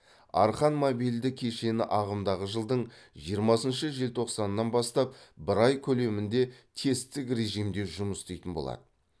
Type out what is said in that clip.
арқан мобильді кешені ағымдағы жылдың жиырмасыншы желтоқсанынан бастап бір ай көлемінде тесттік режимде жұмыс істейтін болады